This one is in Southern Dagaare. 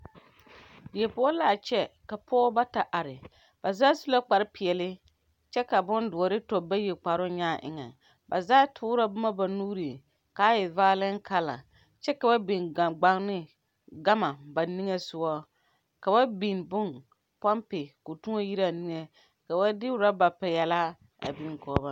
Die poʊ la a kyɛ. Ka pɔgɔbɔ bata are. Ba zaa su la kpar piɛle kyɛ ka bon duore tɔ bayi kparo nyaa eŋe. Ba zaa toora boma ba nuureŋ kaa e vaalɛŋ kala. Kyɛ ka ba biŋ gangbane gama ba niŋe suɔŋ. Ka ba biŋ boŋ, pompi k'o tuoŋ yire a niŋe. Ka ba de roba piɛlaa a biŋ kɔɔ ba.